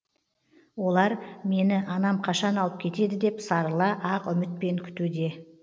олар мені анам қашан алып кетеді деп сарыла ақ үмітпен күтуде